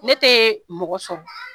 Ne tɛ mɔgɔ sɔrɔ